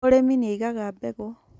Mũrĩmi nĩaigaga mbegũ